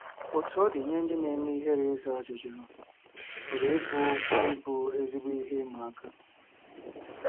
Otú ọ dị, nye ndị na-eme ihere, ịza ajụjụ pụrụ ịbụ ịbụ ezigbo ihe ịma aka.